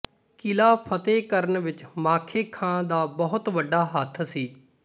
ਕਿਲ੍ਹਾ ਫਤਿਹ ਕਰਨ ਵਿੱਚ ਮਾਖੇ ਖਾਂ ਦਾ ਬਹੁਤ ਵੱਡਾ ਹੱਥ ਸੀ